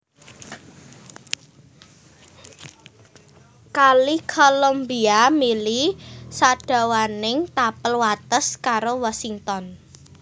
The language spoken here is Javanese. Kali Columbia mili sadawaning tapel wates karo Washington